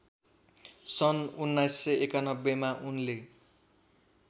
सन् १९९१मा उनले